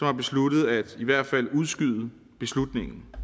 har besluttet i hvert fald at udskyde beslutningen